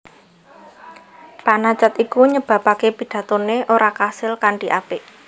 Panacad iku nyebabaké pidatoné ora kasil kanthi apik